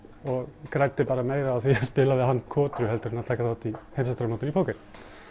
og græddi bara meira á því að spila við hann kotru heldur en að taka þátt í heimsmeistaramótinu í póker